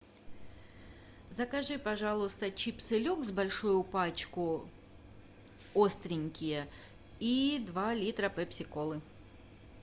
закажи пожалуйста чипсы люкс большую пачку остренькие и два литра пепси колы